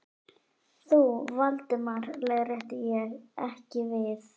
Þú, Valdimar leiðrétti ég, ekki við.